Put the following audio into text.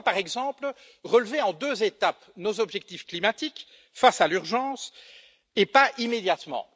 Pourquoi, par exemple, relever en deux étapes nos objectifs climatiques face à l'urgence, et pas immédiatement?